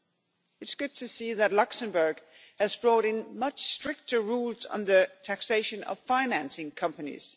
It is good to see that Luxembourg has brought in much stricter rules on the taxation of financing companies.